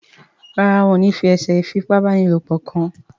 Ràrá wón ní fí eṣe ifi ipá báni lọpọ kún.